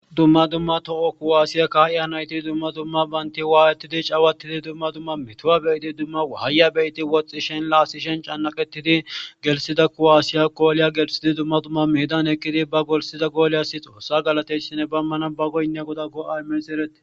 Dumma dumma toho kuwaasiya kaaya nayte dumma dumma bante waayetidi cawattide dumma dumma metuwa be'idi dumma wahaya be'ide wotstsishen l Waasishen cannaqettidi galatida kuwaasiyako goliya demmishe dumma dumma hanishe.